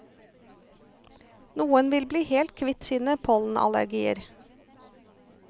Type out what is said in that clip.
Noen vil bli helt kvitt sine pollenallergier.